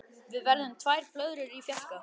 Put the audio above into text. Við verðum tvær blöðrur í fjarska.